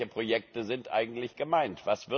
Welche Projekte sind eigentlich gemeint?